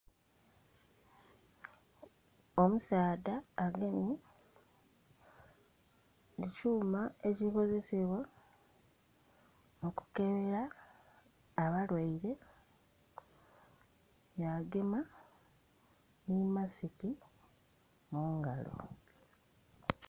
Omusaadha agemye ekyuma ekikozesebwa okukebera abalwaire ya gema nhi masiki mungalo.